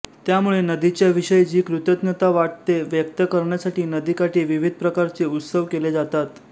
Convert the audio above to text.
त्यामुळे नदीच्या विषयी जी कृतज्ञता वाटते व्यक्त करण्यासाठी नदीकाठी विविध प्रकारचे उत्सव केले जातात